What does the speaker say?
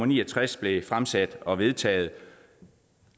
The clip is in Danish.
ni og tres blev fremsat og vedtaget